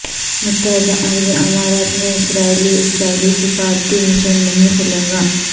متحدہ عرب امارات میں اسرائیلی اسرائیلی سفارتی مشن نہیں کھلے گا